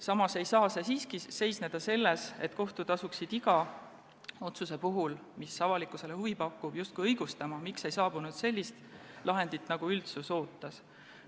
Samas ei saaks see siiski toimuda nii, et kohus peaks iga otsuse puhul, mis avalikkusele huvi pakub, justkui asuma ennast õigustama, miks ei olnud lahend selline, nagu üldsus ootas.